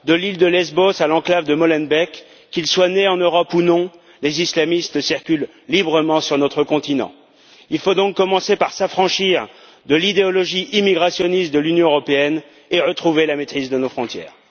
de l'île de Lesbos à l'enclave de Molenbeek, qu'ils soient nés en Europe ou non, les islamistes circulent librement sur notre continent. Il faut donc commencer par s'affranchir de l'idéologie immigrationniste de l'Union européenne et retrouver la maîtrise de nos frontières!